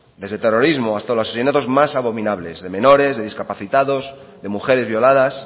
desde terrorismo hasta los asesinatos más abominables de menores de discapacitados de mujeres violadas